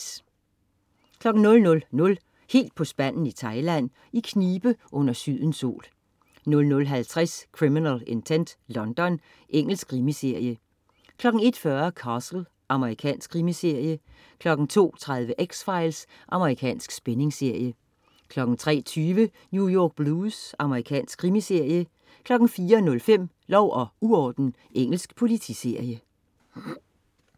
00.00 Helt på spanden i Thailand. I knibe under sydens sol 00.50 Criminal Intent: London. Engelsk krimiserie 01.40 Castle. Amerikansk krimiserie 02.30 X-Files. Amerikansk spændingsserie 03.20 New York Blues. Amerikansk krimiserie 04.05 Lov og uorden. Engelsk politiserie